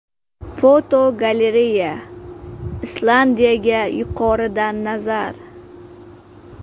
Fotogalereya: Islandiyaga yuqoridan nazar.